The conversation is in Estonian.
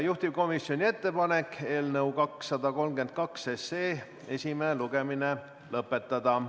Juhtivkomisjoni ettepanek on eelnõu 232 esimene lugemine lõpetada.